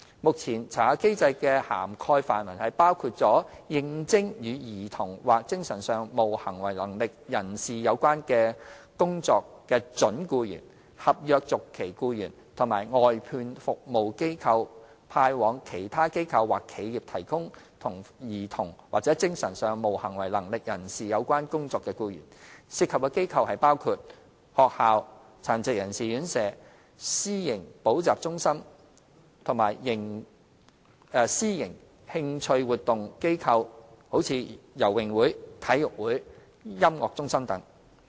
目前，查核機制的涵蓋範圍包括應徵與兒童或精神上無行為能力人士有關工作的準僱員、合約續期僱員及由外判服務機構派往其他機構或企業提供與兒童或精神上無行為能力人士有關工作的僱員，涉及的機構包括學校、殘疾人士院舍、私營補習中心及私營興趣活動機構如游泳會、體育會、音樂中心等。